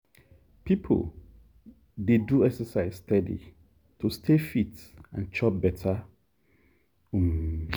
people dey do exercise steady to stay fit and chop better. um